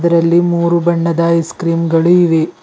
ಇದರಲ್ಲಿ ಮೂರು ಬಣ್ಣದ ಐಸ್ಕ್ರೀಮ್ ಗಳು ಇವೆ.